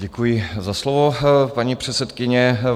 Děkuji za slovo, paní předsedkyně.